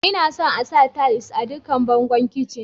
lna son sa tiles a dukkan bangon kicin.